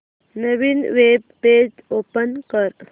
नवीन web page open कर